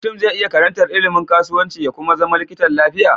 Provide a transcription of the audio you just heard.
Mutun ze iya karantar ilimin kasuwanci ya Kuma zama likitan lafiya